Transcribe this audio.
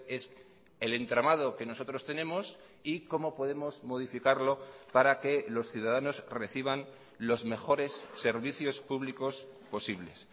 es el entramado que nosotros tenemos y cómo podemos modificarlo para que los ciudadanos reciban los mejores servicios públicos posibles